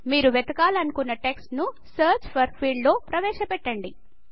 మీరు వెతకాలనుకున్న టెక్స్ట్ ను సెర్చ్ ఫోర్ ఫీల్డ్ లో ప్రవేశ పెట్టండి